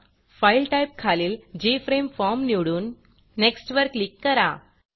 file Typeफाइल type खालील J F R M E Formजे फ्रेम फॉर्म निवडून Nextनेक्स्ट वर क्लिक करा